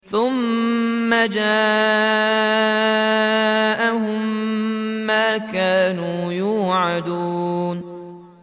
ثُمَّ جَاءَهُم مَّا كَانُوا يُوعَدُونَ